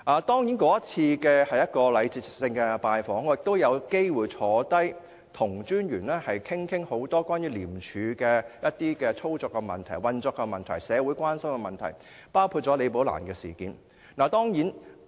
當然，這是一次禮節性的拜訪，而我也有機會坐下來跟廉政專員討論多項關於廉署操作和運作的問題、社會關心的問題，包括"李寶蘭事件"。